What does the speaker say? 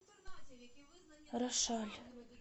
рошаль